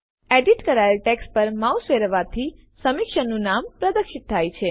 edit કરાયેલ text પર mouse ફેરવવાથી સમીક્ષકનું નામ પ્રદર્શિત થશે